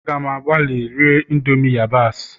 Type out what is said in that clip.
A gam agbalị iri indomie yabasị